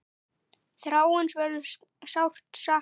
Þráins verður sárt saknað.